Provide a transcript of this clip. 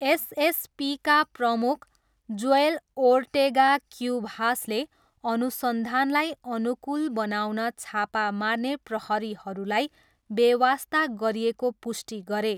एसएसपीका प्रमुख, Joel Ortega क्युभासले अनुसन्धानलाई अनुकूल बनाउन छापा मार्ने प्रहरीहरूलाई बेवास्ता गरिएको पुष्टि गरे।